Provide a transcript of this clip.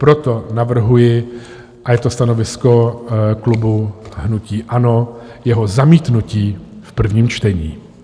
Proto navrhuji, a je to stanovisko klubu hnutí ANO, jeho zamítnutí v prvním čtení.